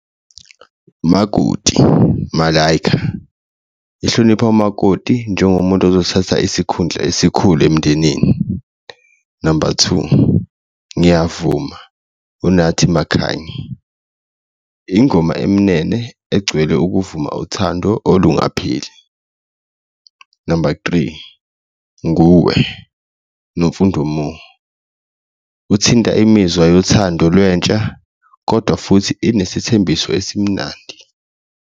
Makoti, Malayika ehlonipha umakoti njengomuntu ozothatha isikhundla esikhulu emndenini, number two, ngiyavuma uNathi Makhanye, ingoma emnene egcwele ukuvuma uthando olungapheli. Number three, nguwe, Nomfundo Mo uthinta imizwa yothando lwentsha kodwa futhi inesithembiso esimnandi.